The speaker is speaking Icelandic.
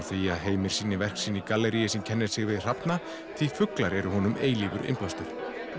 því að Heimir sýni verk sín í gallerí sem kennir sig við hrafna því fuglar eru honum eilífur innblástur